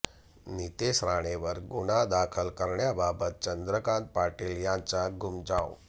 नितेश राणेंवर गुन्हा दाखल करण्याबाबत चंद्रकांत पाटील यांचा घुमजाव